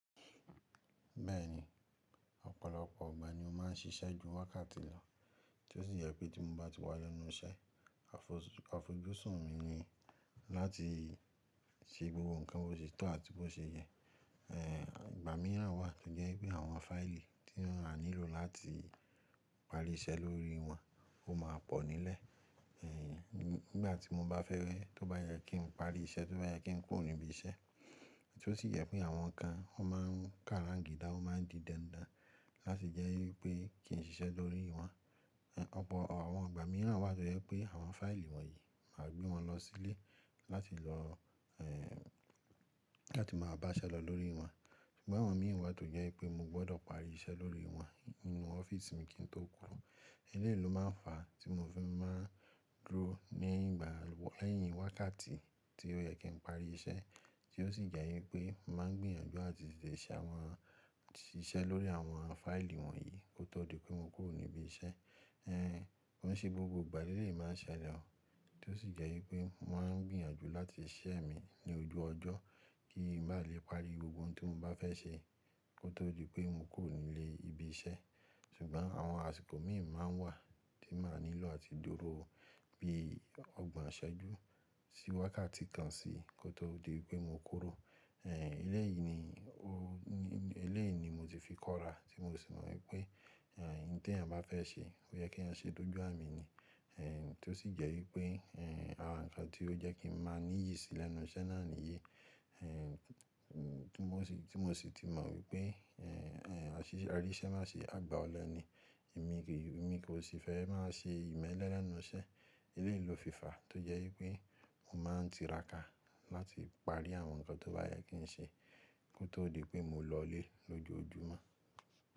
Bẹ́ẹ̀ni, ọ̀pọ̀lọpọ̀ ìgbà ni mo máa ń ṣiṣẹ́ ju wákàtí lọ, tí ó sì jẹ pé tí mo bá ti wà lẹ́nu iṣẹ́, àfojúsùn mi ni láti ṣe gbogbo nǹkan tó ṣe tán àti bó ṣe yẹ. Ẹ̀, ìgbà mìíràn wà tó jẹ́ wipé àwọn fáìlì tí wọ́n a nílò láti parí iṣẹ́ lórí wọn ó máa pọ̀ nílẹ̀, ẹ̀, nígbà tí mo bá fẹ́rẹ́ tó bá yẹ kí n parí iṣẹ́, tó bá yẹ kí n kúrò níbi iṣẹ́. Tí ó sì jẹ pé àwọn kan wọn máa ń kàráǹgì dá, wọ́n máa ń di dandan láti jẹ́ wípé kì í n ṣiṣẹ́ lórí wọn. Ẹ̀, ọ̀pọ̀ àwọn ìgbà mìíràn wà tó jẹ́ pé àwọn fáìlì wọ̀nyí máa gbé wọn lọ sílé láti lọ, ẹ́ẹ́, láti máa bá ṣẹ́ lọ lórí wọn. Ṣùgbọ́n àwọn míì wà tó jẹ́ wipé mo gbọ́dọ̀ parí iṣẹ́ lórí wọn nínú ọ́fíísì mi kí n tó kúró. Eleyii lò máa n fa tí mo fi máa dúró ní ìgbà lẹ́yìn wákàtí tí ó yẹ kí n parí iṣẹ́, tí ó sì jẹ wípé mo máa ń gbìyànjú láti ṣiṣẹ́ lórí àwọn fáìlì wọ̀nyí kó tó di pé mo kúrò níbi iṣẹ́. Ẹn, ko ń ṣe gbogbo ìgbà, lélẹ̀ yii máa n ṣẹlẹ̀ oo, tí ó sì jẹ wípé mo máa ń gbìyànjú láti ṣẹ́ mi ní ojú ọjọ́ kí n bá lè parí gbogbo ohun tí mo bá fẹ́ ṣe kó tó di pé mo kúrò nílé ibi iṣẹ́. Ṣùgbọ́n àwọn àsìkò míì máa n wà tí màá nílò láti dúró bí ọgbọ̀n ṣejú sí wákàtí kan sí kó tó di wípé mo kúrò. Ẹn, eleyìí ni o, eleyìí ni mo ti fi kọ́ra tí mo sì mọ wípé, ẹ̀, oun tí èèyan bá fẹ́ ṣe ó yẹ kí èèyan ṣe dojú àmì ni. Ẹ̀n, tí ó sì jẹ wípé, ẹ́ẹ́, àwọn nǹkan tí ó jẹ́ kí n máa níyì sí lẹ́nu iṣẹ́ náà nìyí, ẹ̀, mm, tí mo sì, tí mo sì ti mọ wípé, ẹ̀, a ríṣẹ́ má ṣe àgbà ọlẹ ni. Emí mi kò sì fẹ́ máa ṣe ìmẹ́lẹ́ lẹ́nu iṣẹ́. Eléyìí lò fi fa tó jẹ́ wípé mo máa ń tiraka láti parí àwọn nǹkan tó bá yẹ kí n ṣe kó tó di pé mo lọlé lójoojúmọ́.